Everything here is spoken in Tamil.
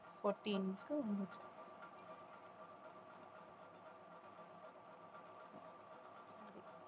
fourteenth வந்துச்சு